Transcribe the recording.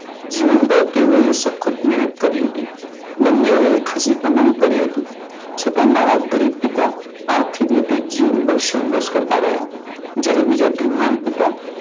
જીવનમાં તેઓ એ સખત મહેનત કરી હતી. બન્નેઓ એ ખાસી કમાણી કરી હતી. છતાં મારા ગરીબ પિતા આખી જીવન સંઘર્ષ કરતા રહ્યા. જયારે મારા બીજા ધનવાન પિતા